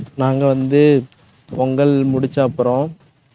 நாங்க வந்து பொங்கல் முடிச்ச அப்புறம்